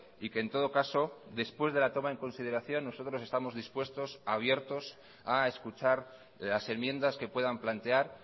y que en todo caso después de la toma en consideración nosotros estamos dispuestos abiertos a escuchar las enmiendas que puedan plantear